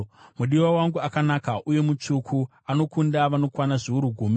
Mudiwa wangu akanaka uye mutsvuku, anokunda vanokwana zviuru gumi.